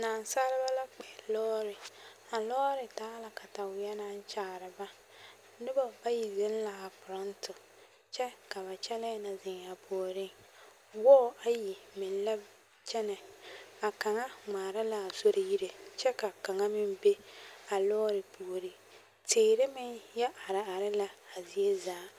Naasaleba la koɛ lɔɔre a lɔɔre taa la kataweɛ naŋ kyaare ba noba bayi zeŋ la a forɔnto kyɛ ka ba kyɛlɛɛ na zeŋ a puoriŋ wɔɔ ayi meŋ la kyɛnɛ a kaŋa ŋmaara a sori yire kyɛ ka kaŋa meŋ be a lɔɔre puoriŋ teere meŋ yɛ areare la a zie zaa.